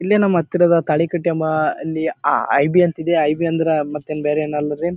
ಇಲ್ಲೇ ನಮ್ಮ ಹತ್ತಿರದ ತಾಳಿಕಟ್ಟಿ ಎಂಬ ಅಲ್ಲಿ ಐಬಿ ಅಂತಿದೆ ಐಬಿ ಅಂದ್ರ ಮತ್ತ್ ಏನ್ ಬೇರೆ ಎನ್ ಅಲ್ರಿ.